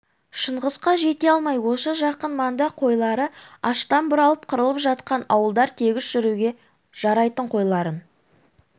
шыңғысқа жете алмай осы жақын маңда қойлары аштан бұралып қырылып жатқан ауылдар тегіс жүруге жарайтын қойларын